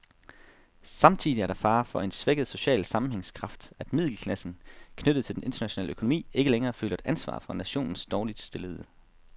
Samtidig er der fare for en svækket social sammenhængskraft, at middelklassen, knyttet til den internationale økonomi, ikke længere føler et ansvar for nationens dårligt stillede.